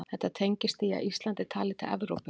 Þetta tengist því að Ísland er talið til Evrópu.